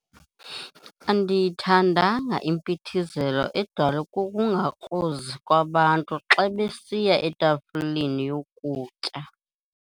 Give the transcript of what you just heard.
Andiyithandanga impithizelo edalwe kukungakrozi kwabantu xa besiya etafileni yokutya.